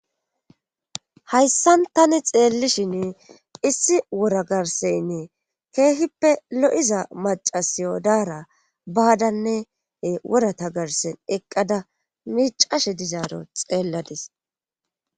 hayssan tani xeellishin issi wura garseynne keehippe lo7iza macasiyodaara baadanne wurata garsen eqqada miicashe dizaaro xeelladis